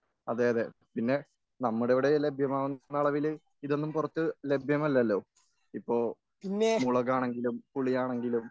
അതെയതെ പിന്നെ നമ്മുടെയിവിടെ ലഭ്യമാകുന്ന അളവില് ഇതൊന്നും പുറത്തൊന്നും ലഭ്യമല്ലല്ലോ ? ഇപ്പോ മുളകാണെങ്കിലും പുളിയാണെങ്കിലും